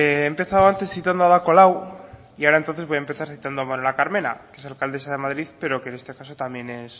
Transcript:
he empezado antes citando a ada colau y ahora entonces voy a empezar citando a manuela carmena que es alcaldesa de madrid pero que en este caso también